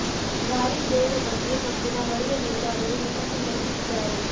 ಭಾರಿ ಜಯದ ಬಗ್ಗೆ ಪಕ್ಷ ದ ಹಳೆಯ ನೇತಾರರು ವಿಮರ್ಶೆ ನಡೆಸುತ್ತಿದ್ದಾರೆ